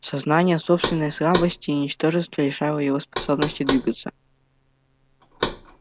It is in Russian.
сознание собственной слабости и ничтожества лишало его способности двигаться